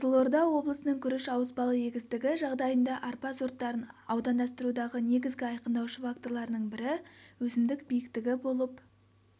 қызылорда облысының күріш ауыспалы егістігі жағдайында арпа сорттарын аудандастырудағы негізгі айқындаушы факторларының бірі өсімдік биіктігі болып